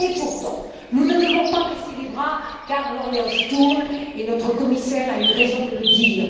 Et pourtant, nous ne devons pas baisser les bras car l'horloge tourne et notre commissaire a eu raison de le dire.